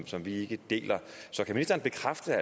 som vi ikke deler så kan ministeren bekræfte